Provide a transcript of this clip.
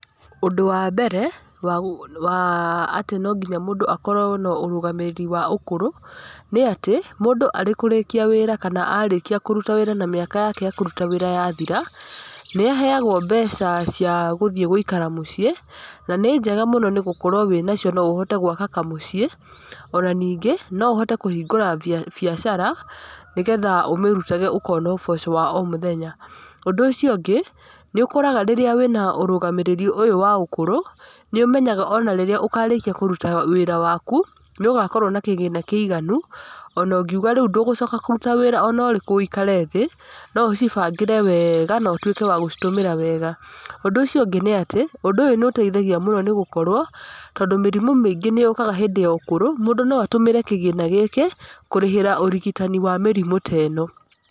Ũndũ wa mbere wa atĩ no nginya mũndũ akorwo na ũrũgamĩrĩri wa ũkũrũ nĩ atĩ, mũndũ arĩ kũrĩkia wĩra kana arĩkia kũruta wĩra na mĩaka yake yakũruta wĩra yathira, nĩ aheagwo mbeca cia gũthiĩ gũikara mũciĩ. Na nĩ njega mũno tondũ wĩnacio no ũhote gwaka kamũcii ona ningĩ no ũhote kũhingũra biacara nĩgetha ũmĩrutage ũkona ũboco wa o mũthenya. Ũndũ ũcio ũngĩ nĩ ũkoraga rĩrĩa wĩna ũrũgamĩrĩri ũyũ wa ũkũrũ, nĩ ũmenyaga ona rĩrĩa ũkarĩkia kũruta wĩra waku nĩ ũgakorwo na kĩgĩna kĩiganu, ona ũngĩuga ndũgũcoka kũruta wĩra ona ũrĩkũ wũikare thĩ, no ũcibangĩre wega na ũtuĩke wa gũcitũmĩra wega. Ũndũ ũcio ũngĩ nĩ atĩ ũndũ ũyũ nĩ ũteithagia mũno nĩ gũkorwo, tondũ mĩrimũ mĩingĩ nĩyũkaga hĩndĩ ya ũkũrũ mũndũ no atũmĩre kĩgĩna gĩkĩ kũrĩhĩra ũrigitani ta wa mĩrimũ ta ĩno.